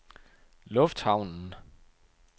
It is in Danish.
lufthavnen